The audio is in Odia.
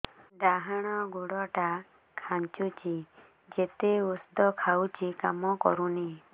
ଡାହାଣ ଗୁଡ଼ ଟା ଖାନ୍ଚୁଚି ଯେତେ ଉଷ୍ଧ ଖାଉଛି କାମ କରୁନି